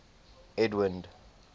edwind